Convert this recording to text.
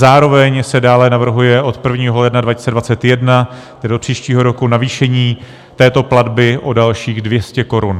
Zároveň se dále navrhuje od 1. ledna 2021, tedy od příštího roku, navýšení této platby o dalších 200 korun.